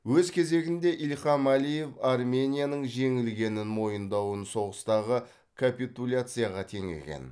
өз кезегінде ильхам алиев арменияның жеңілгенін мойындауын соғыстағы капитуляцияға теңеген